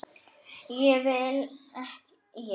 Hvað vil ég?